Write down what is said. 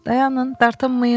Dayanın, dartınmayın.